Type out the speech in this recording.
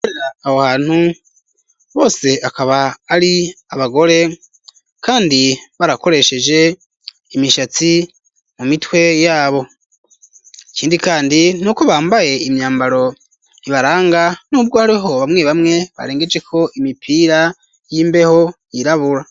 Aho hantu bose akaba ari abagore kandi barakoresheje imishatsi mu mitwe yabo ikindi kandi nuko bambaye imyambaro ibaranga nubwo hariho bamwe bamwe barengeje ko imipira y'imbeho yirabura.